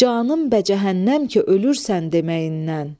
Canım bə cəhənnəm ki, ölürsən deməyindən.